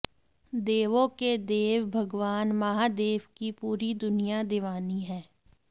देवों के देव भगवान महादेव की पूरी दुनिया दीवानी है